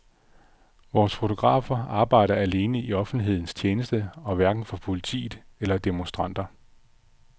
Vores fotografer arbejder alene i offentlighedens tjeneste og hverken for politiet eller demonstranter.